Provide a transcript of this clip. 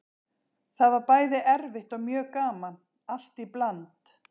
Það var bæði erfitt og mjög gaman, allt í bland.